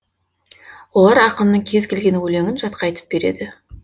олар ақынның кез келген өлеңін жатқа айтып береді